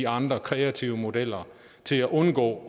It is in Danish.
andre kreative modeller til at undgå